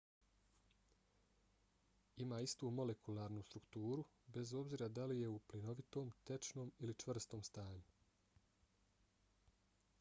ima istu molekularnu strukturu bez obzira da li je u plinovitom tečnom ili čvrstom stanju